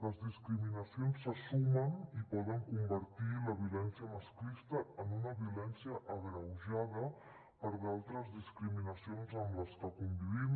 les discriminacions se sumen i poden convertir la violència masclista en una violència agreujada per altres discriminacions amb les que convivim